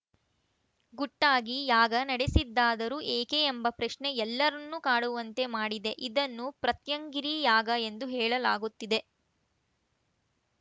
ಗುಟ್ಟಾಗಿ ಯಾಗ ನಡೆಸಿದ್ದಾದರೂ ಏಕೆ ಎಂಬ ಪ್ರಶ್ನೆ ಎಲ್ಲರನ್ನೂ ಕಾಡುವಂತೆ ಮಾಡಿದೆ ಇದನ್ನು ಪ್ರತ್ಯಂಗಿರಿ ಯಾಗ ಎಂದು ಹೇಳಲಾಗುತ್ತಿದೆ